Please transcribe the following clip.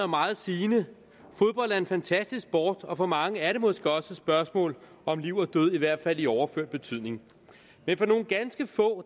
meget sigende fodbold er en fantastisk sport og for mange er det måske også et spørgsmål om liv og død i hvert fald i overført betydning men for nogle ganske få